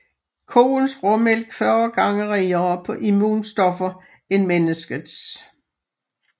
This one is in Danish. Koens råmælk 40 gange rigere på immunstoffer end menneskets